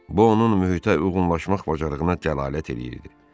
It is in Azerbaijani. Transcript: Bu onun mühitə uyğunlaşmaq bacarığına dəlalət eləyirdi.